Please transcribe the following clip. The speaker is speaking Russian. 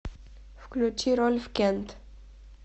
включи рольф кент